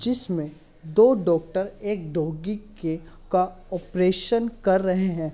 जिसमें दो डॉक्टर एक डॉगी के का ऑपरेशन कर रहे हैं।